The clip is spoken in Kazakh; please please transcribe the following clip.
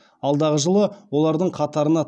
алдағы жылы олардың қатарына